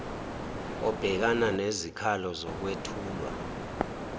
obhekana nezikhalo zokwethulwa